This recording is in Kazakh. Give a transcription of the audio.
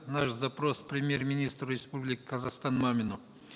наш запрос премьер министру республики казахстан мамину